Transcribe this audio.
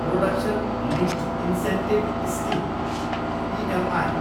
production linked incentive scheme, PLI